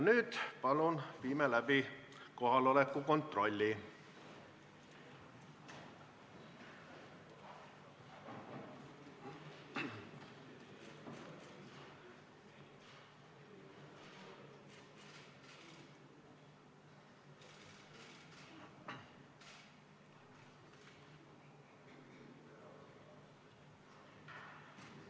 Nüüd palun viime läbi kohaloleku kontrolli!